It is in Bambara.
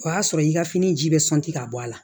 O y'a sɔrɔ i ka fini ji bɛ sɔnti ka bɔ a la